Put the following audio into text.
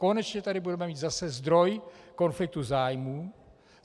Konečně tady budeme mít zase zdroj konfliktu zájmů.